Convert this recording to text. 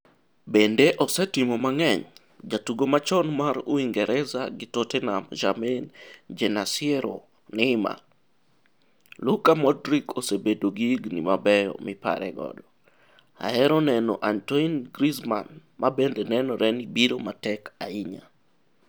Bende ose timo mang'eny' Jatugo machon mar Uingereza gi Tottenham Jermaine Jenasyiero Neymar "Luka Modric ose bedo gi higni mabeyo mipare goto ahero neno Antoine Griezmann, mabende nenore ni biro matek ahinya